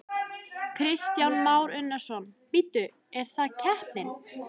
Kristján Már Unnarsson: Bíddu, er það keppnin?